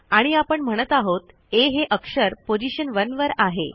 आणि आपण म्हणत आहोत आ हे अक्षर पोझीशन 1वर आहे